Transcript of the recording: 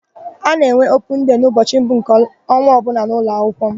A na-enwe opun dei n'ụbọchị mbụ nke ọnwa ọbụla n'ụlọakwụkwọ m.